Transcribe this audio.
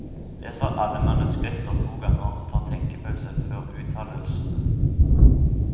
Leser alle manuskripter to ganger og tar tenkepause før uttalelsene.